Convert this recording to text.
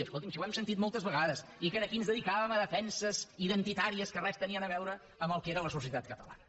escolti’m si ho hem sentit moltes vegades i que aquí ens dedicàvem a defenses identitàries que res tenien a veure amb el que era la societat catalana